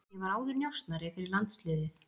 Ég var áður njósnari fyrir landsliðið.